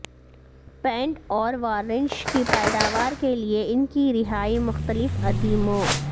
pant اور varnish کی پیداوار کے لئے ان کی رہائی مختلف ادیموں